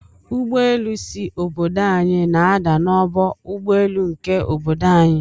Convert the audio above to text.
Ụgbọelu si obodo anyi na ada na ọgbọ ụgbọ elu nke obodo anyi.